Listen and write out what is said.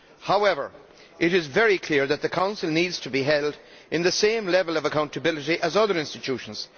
However, it is very clear that the Council needs to be held to the same level of accountability as other institutions.